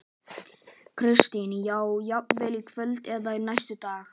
Kristín: Þá jafnvel í kvöld eða næstu daga?